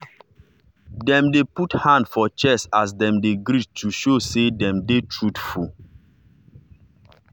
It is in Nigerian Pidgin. dem dey put hand for chest as dem dey greet to show say dem dey truthful.